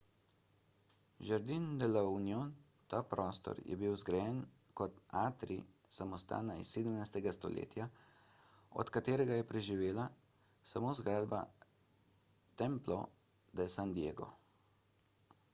jardín de la unión. ta prostor je bil zgrajen kot atrij samostana iz 17. stoletja od katerega je preživela samo zgradba templo de san diego